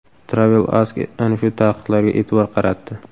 TravelAsk ana shu taqiqlarga e’tibor qaratdi .